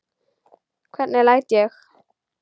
Hvernig læt ég!